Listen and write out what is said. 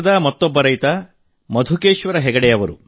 ಮತ್ತೊಬ್ಬ ರೈತ ಕರ್ನಾಟಕದ ಮಧುಕೇಶ್ವರ ಹೆಗಡೆ ಜಿ ಅವರು